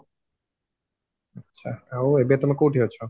ଆଚ୍ଛା ଆଉ ଏବେ ତମେ କଉଠି ଅଛ